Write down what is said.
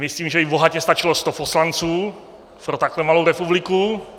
Myslím, že by bohatě stačilo 100 poslanců pro takhle malou republiku.